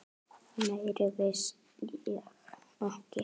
Meira vissi ég ekki.